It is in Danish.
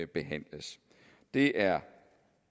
behandles det er